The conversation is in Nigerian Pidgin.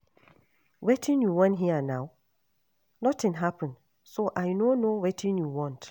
Wetin you wan hear now, nothing happen so I no know wetin you want